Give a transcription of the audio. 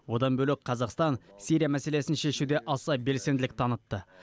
одан бөлек қазақстан сирия мәселесін шешуде аса белсенділік танытты